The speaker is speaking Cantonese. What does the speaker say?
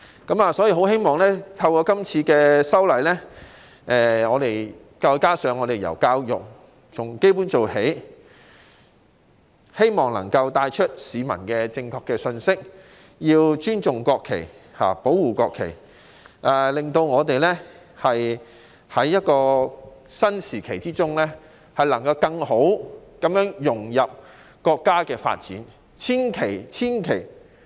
但願透過今次的法例修訂工作，加上從教育入手，由基本做起，能向市民帶出正確的信息，告訴大家必須尊重、保護國旗，讓我們能在一個新時期中更好地融入國家的發展大局。